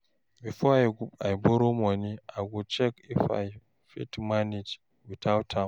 Before I borrow money, I go check if I fit manage without am.